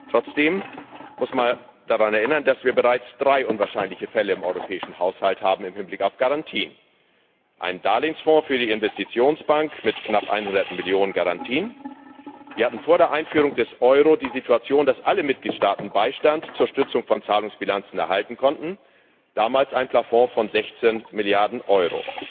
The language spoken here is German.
Trotzdem muss man daran erinnern, dass wir im Hinblick auf Garantien bereits drei unwahrscheinliche Fälle im Europäischen Haushalt haben einen Darlehensfonds für die Investitionsbank mit knapp 100 Millionen EUR Garantien. Wir hatten vor der Einführung des Euro die Situation, dass alle Mitgliedstaaten Beistand zur Stützung von Zahlungsbilanzen erhalten konnten, damals ein Plafond von 16 Milliarden Euro.